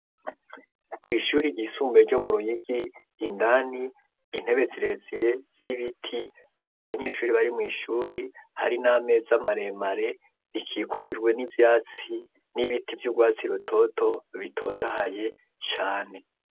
kw'ishuri ry'isumbuye ryo mu ruyigi indani intebe zirezire z'ibiti atabanyeshuri bari mw'ishuri hari n'ameza maremare rikikurwe n'ivyatsi n'ibiti vy'ugwatsi rutoto bitotohaye cane